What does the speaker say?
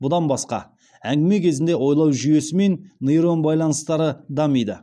бұдан басқа әңгіме кезінде ойлау жүйесі мен нейрон байланыстары дамиды